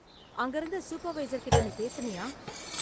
அங்க இருந்த சூப்பர்வைசர் கிட்ட நீ பேசுனியா?